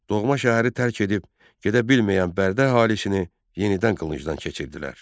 Doğma şəhəri tərk edib gedə bilməyən Bərdə əhalisini yenidən qılıncdan keçirdilər.